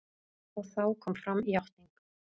Og þá kom fram játning.